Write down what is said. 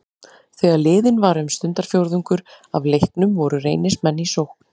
Þegar liðinn var um stundarfjórðungur af leiknum voru Reynismenn í sókn.